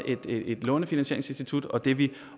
lånefinansieringsinstitut og det er vi